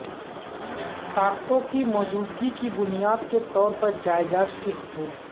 طاقتوں کی موجودگی کی بنیاد کے طور پر جائیداد کے حصول